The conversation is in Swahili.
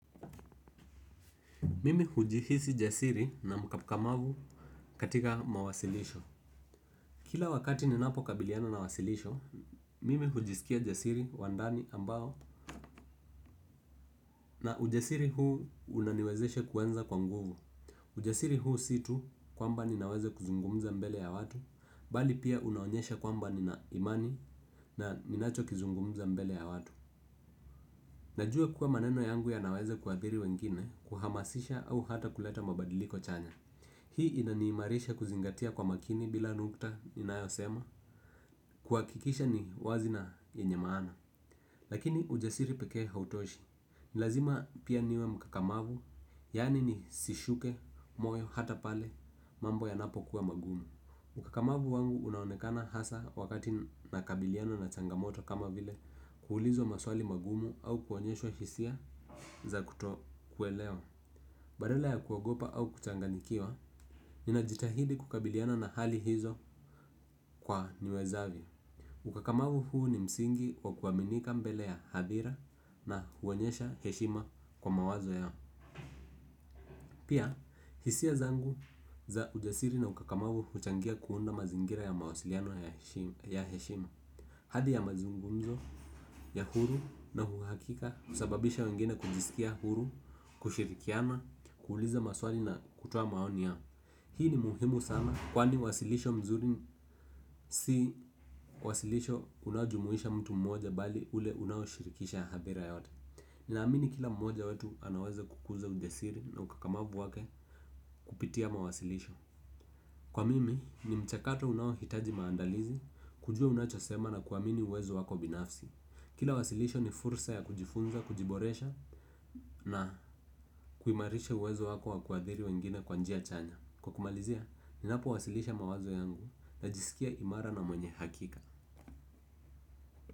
Mimi hujihisi jasiri na mkakamavu katika mawasilisho. Kila wakati ninapo kabiliana na wasilisho, mimi hujisikia jasiri wa ndani ambao na ujasiri huu unaniwezeshe kuenza kwa nguvu. Ujasiri huu si tu kwamba ninaweza kuzungumza mbele ya watu, bali pia unaonyesha kwamba nina imani na ninacho kizungumza mbele ya watu najua kuwa maneno yangu yanaweza kuathiri wengine kuhamasisha au hata kuleta mabadiliko chanya. Hii inaniimarisha kuzingatia kwa makini bila nukta inayosema kuhakikisha ni wazi na yenye maana. Lakini ujasiri pekee hautoshi. Ni lazima pia niwe mkakamavu. Yani nisishuke moyo hata pale mambo yanapokuwa magumu ukakamavu wangu unaonekana hasa wakati nakabiliana na changamoto kama vile kuulizwa maswali magumu au kuonyeshwa hisia za kutokuelewa. Badala ya kuogopa au kuchanganyikiwa ninajitahidi kukabiliana na hali hizo kwa niwezavyo. Ukakamavu huu ni msingi wa kuaminika mbele ya hadhira na huonyesha heshima kwa mawazo ya pia, hisia zangu za ujasiri na ukakamavu huchangia kuunda mazingira ya mawasiliano ya heshima. Hadi ya mazungumzo ya huru na uhakika kusababisha wengine kujisikia huru, kushirikiana, kuuliza maswali na kutoa maoni yao. Hii ni muhimu sana kwani wasilisho mzuri si wasilisho unaojumuisha mtu mmoja bali ule unaoshirikisha hadhira yote. Ninaamini kila mmoja wetu anaweza kukuza ujasiri na ukakamavu wake kupitia mawasilisho. Kwa mimi ni mchakato unaohitaji maandalizi kujua unachosema na kuamini uwezo wako binafsi. Kila wasilisho ni fursa ya kujifunza, kujiboresha na kuimarisha uwezo wako wa kuadhiri wengine kwa njia chanya. Kwa kumalizia, ninapowasilisha mawazo yangu najisikia imara na mwenye hakika.